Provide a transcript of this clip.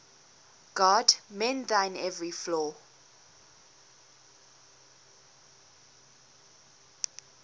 god mend thine every flaw